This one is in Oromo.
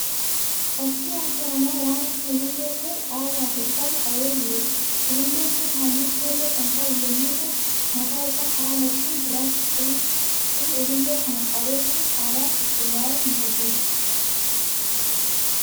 Fakkii harka namaa waan akka ulullee ta'ee qaawwaa afur qabu qabee jiruudha. Ululleen kun halluu keelloo kan qabu yemmuu ta'u mataa isaa karaa lachuun gurraacha. qubi ulullee kana qabee jiru haalaan qulqullaa'ee miidhagee jira.